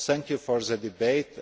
Thank you for the debate.